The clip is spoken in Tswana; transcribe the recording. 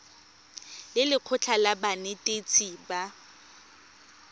le lekgotlha la banetetshi ba